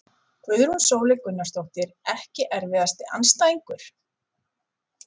Guðrún Sóley Gunnarsdóttir Ekki erfiðasti andstæðingur?